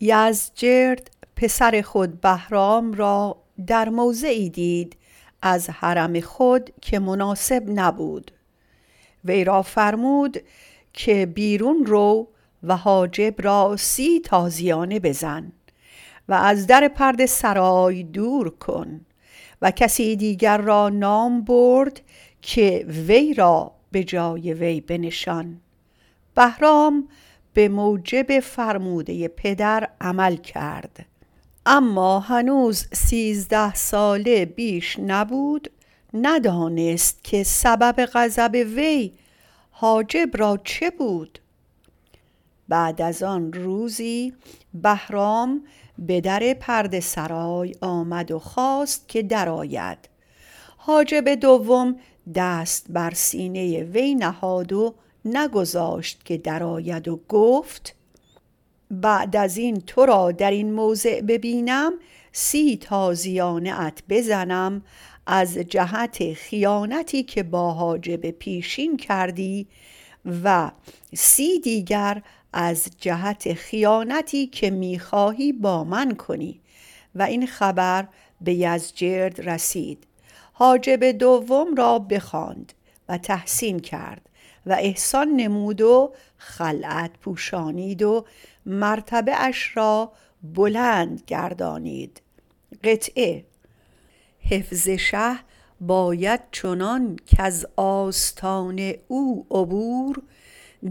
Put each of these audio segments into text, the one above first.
یزدجرد پسر خود بهرام را در موضعی دید از حرم خود که مناسب نبود وی را فرمود که بیرون رو و حاجب را سی تازیانه بزن و از در پرده سرا دور کن و کسی دیگر را نام برد که وی را به جای او بنشان بهرام به موجب فرموده پدر عمل کرد اما هنوز سیزده ساله بیش نبود ندانست که سبب غضب وی بر حاجب چه بود بعد از آن روزی به در پرده سرای آمد و خواست که درآید حاجب دوم دست بر سینه وی زد و نگذاشت که درآید و گفت اگر بعد از این تو را در این موضع ببینم سی تازیانه ات بزنم از جهت خیانتی که با حاجب پیشین کردی و سی دیگر از جهت خیانتی که می خواهی با من کنی این خبر به یزدجرد رسید حاجب دویم را بخواند و تحسین کرد و احسان نمود و خلعت پوشانید حفظ شه باید چنان کز آستان او عبور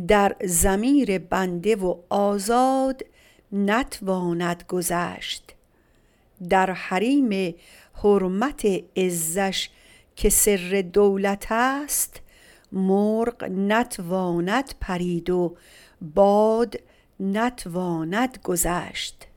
در ضمیر بنده و آزاد نتواند گذشت در حریم حرمت عزش که ستر دولت است باز نتواند پرید و باد نتواند گذشت